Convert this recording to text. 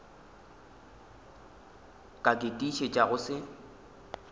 ka ke tiišetša go se